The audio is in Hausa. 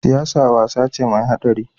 Siyasa wasa ce mai haɗari.